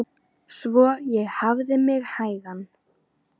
Svo ég hafði mig hægan.